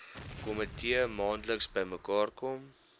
komitee maandeliks bymekaarkom